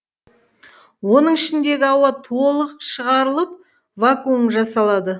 оның ішіндегі ауа толық шығарылып вакуум жасалады